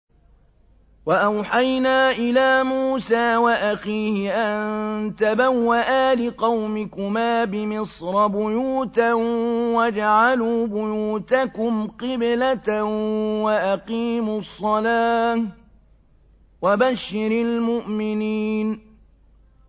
وَأَوْحَيْنَا إِلَىٰ مُوسَىٰ وَأَخِيهِ أَن تَبَوَّآ لِقَوْمِكُمَا بِمِصْرَ بُيُوتًا وَاجْعَلُوا بُيُوتَكُمْ قِبْلَةً وَأَقِيمُوا الصَّلَاةَ ۗ وَبَشِّرِ الْمُؤْمِنِينَ